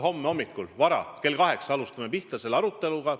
Homme hommikul vara, kell 8 hakkame pihta selle aruteluga.